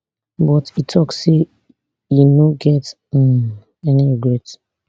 but e tok say e no get um any regret